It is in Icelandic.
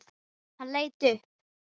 Hann leit upp.